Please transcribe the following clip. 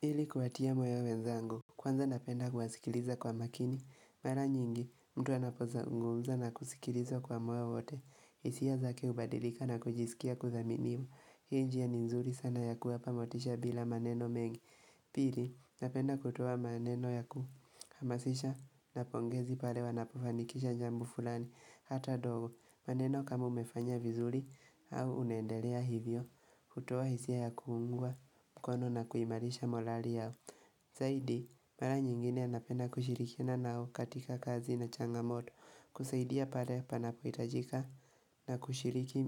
Ili kuwatia moyo wenzangu, kwanza napenda kuwasikiliza kwa makini, mara nyingi mtu anapozungumza na kusikilizwa kwa moyo wote, hisia zake hubadilika na kujisikia kuthaminiwa, hii njia ni nzuri sana ya kuwapa motisha bila maneno mengi pili napenda kutoa maneno ya kuhamasisha na pongezi pale wanapofanikisha jambo fulani, hata dogo, maneno kama umefanya vizuri au unaendelea hivyo, hutoa hisia ya kuungwa mkono na kuimarisha molali yao saidi, mara nyingine napenda kushirikina nao katika kazi na changamoto kusaidia pale panapo hitajika na kushiriki